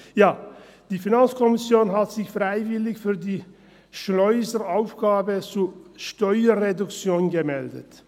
Ja, die FiKo hat sich freiwillig für die Schleuseraufgabe zur Steuerreduktion gemeldet.